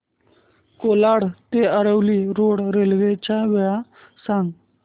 कोलाड ते Aravali road railway च्या वेळा सांग